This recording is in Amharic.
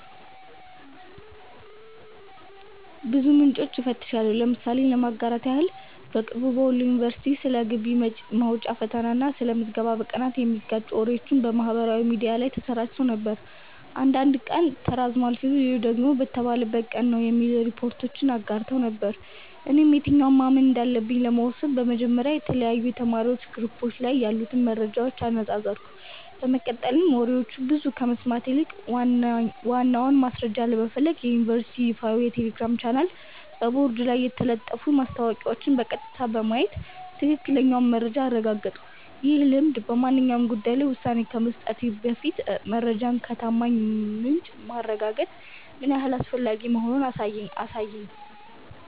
ብዙ ምንጮችን እፈትሻለሁ። ምሳሌ ለማጋራት ያህል፦ በቅርቡ በወሎ ዩኒቨርሲቲ ስለ ግቢ መውጫ ፈተና እና ስለ ምዝገባ ቀናት የሚጋጩ ወሬዎች በማህበራዊ ሚዲያ ላይ ተሰራጭተው ነበር። አንዳንዶች ቀኑ ተራዝሟል ሲሉ፣ ሌሎች ደግሞ በተባለበት ቀን ነው የሚሉ ሪፖርቶችን አጋርተው ነበር። እኔም የትኛውን ማመን እንዳለብኝ ለመወሰን በመጀመሪያ የተለያዩ የተማሪዎች ግሩፖች ላይ ያሉትን መረጃዎች አነጻጸርኩ፤ በመቀጠልም ወሬዎችን ብቻ ከመስማት ይልቅ ዋናውን ማስረጃ ለመፈለግ የዩኒቨርሲቲውን ይፋዊ የቴሌግራም ቻናልና በቦርድ ላይ የተለጠፉትን ማስታወቂያዎች በቀጥታ በማየት ትክክለኛውን መረጃ አረጋገጥኩ። ይህ ልምድ በማንኛውም ጉዳይ ላይ ውሳኔ ከመስጠቴ በፊት መረጃን ከታማኝ ምንጭ ማረጋገጥ ምን ያህል አስፈላጊ መሆኑን ያሳየኝ ነበር።